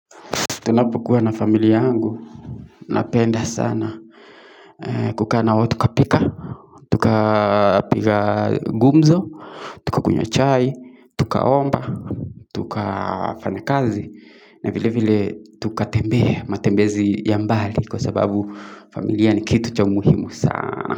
Tunapokuwa na familia yangu. Napenda sana. Kukaa nao tukapika. Tukapika gumzo. Tukakunywa chai. Tukaomba. Tukafanya kazi. Na vile vile tukatembea matembezi ya mbali kwa sababu familia ni kitu cha umuhimu sana.